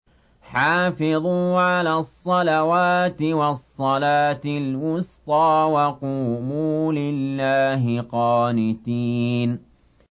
حَافِظُوا عَلَى الصَّلَوَاتِ وَالصَّلَاةِ الْوُسْطَىٰ وَقُومُوا لِلَّهِ قَانِتِينَ